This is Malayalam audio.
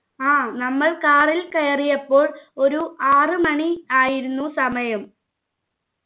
ആ നമ്മൾ car ൽ കയറിയപ്പോൾ ഒരു ആറ് മണി ആയിരുന്നു സമയം